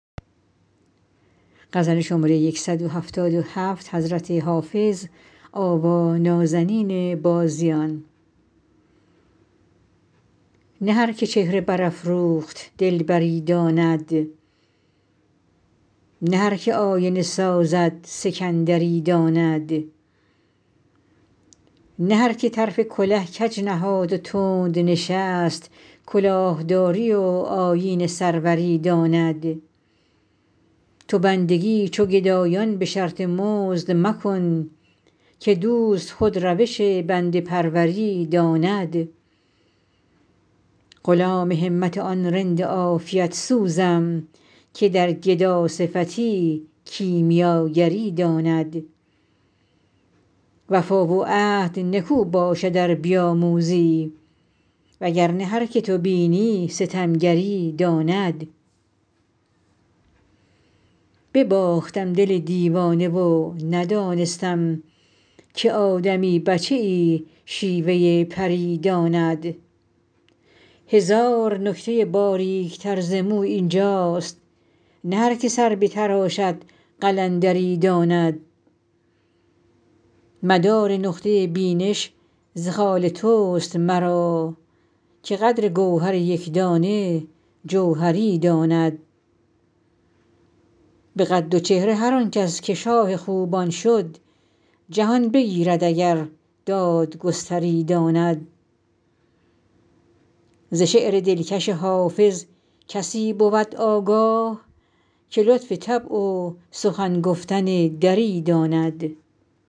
نه هر که چهره برافروخت دلبری داند نه هر که آینه سازد سکندری داند نه هر که طرف کله کج نهاد و تند نشست کلاه داری و آیین سروری داند تو بندگی چو گدایان به شرط مزد مکن که دوست خود روش بنده پروری داند غلام همت آن رند عافیت سوزم که در گداصفتی کیمیاگری داند وفا و عهد نکو باشد ار بیاموزی وگر نه هر که تو بینی ستمگری داند بباختم دل دیوانه و ندانستم که آدمی بچه ای شیوه پری داند هزار نکته باریک تر ز مو این جاست نه هر که سر بتراشد قلندری داند مدار نقطه بینش ز خال توست مرا که قدر گوهر یک دانه جوهری داند به قد و چهره هر آن کس که شاه خوبان شد جهان بگیرد اگر دادگستری داند ز شعر دلکش حافظ کسی بود آگاه که لطف طبع و سخن گفتن دری داند